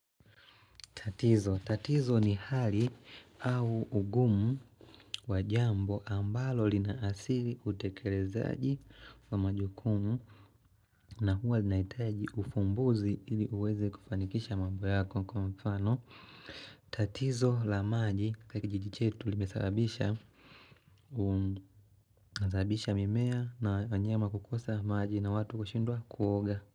Tatizo, tatizo ni hali au ungumu wajambo ambalo linaasiri utekerezaaji wa majukumu na huwa linaitaji ufumbuzi ili uweze kufanikisha mambo yako kwa mfano. Tatizo la maji kwa kijiji chetu limesababisha uum mimea na wanyama kukosa maji na watu kushindwa kuoga.